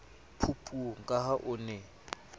phupung ka ha o ne